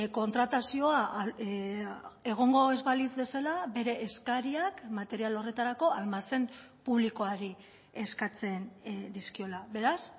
kontratazioa egongo ez balitz bezala bere eskariak material horretarako almazen publikoari eskatzen dizkiola beraz